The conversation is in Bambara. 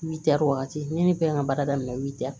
Witɛri wagati ne bɛ n ka baara daminɛ